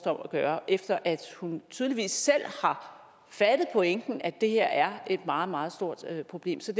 om at gøre efter at hun tydeligvis selv har fattet pointen at det her er et meget meget stort problem så